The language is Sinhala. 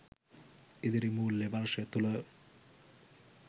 ඉදිරි මූල්‍ය වර්ෂය තුල